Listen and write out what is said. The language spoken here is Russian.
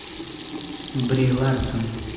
бри ларсон